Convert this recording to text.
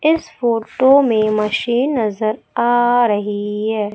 इस फोटो में मशीन नजर आ रही है।